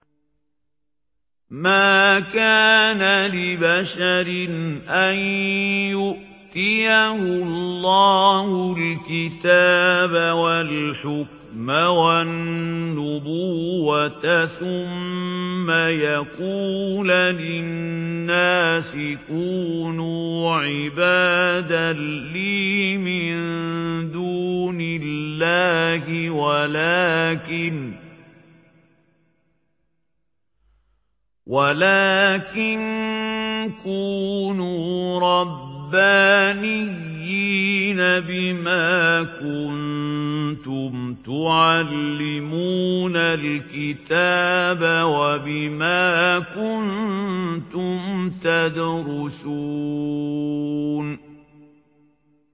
مَا كَانَ لِبَشَرٍ أَن يُؤْتِيَهُ اللَّهُ الْكِتَابَ وَالْحُكْمَ وَالنُّبُوَّةَ ثُمَّ يَقُولَ لِلنَّاسِ كُونُوا عِبَادًا لِّي مِن دُونِ اللَّهِ وَلَٰكِن كُونُوا رَبَّانِيِّينَ بِمَا كُنتُمْ تُعَلِّمُونَ الْكِتَابَ وَبِمَا كُنتُمْ تَدْرُسُونَ